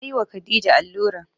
Na yi wa khadija allura